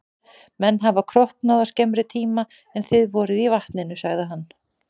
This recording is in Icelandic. Menn hafa króknað á skemmri tíma en þið voruð í vatninu, sagði hann.